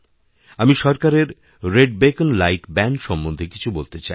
আমি সরকারের red beacon light ব্যানসম্বন্ধে কিছু বলতে চাই